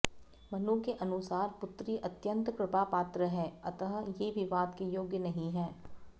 मनु के अनुसार पुत्री अत्यन्त कृपापात्र है अतः ये विवाद के योग्य नहीं है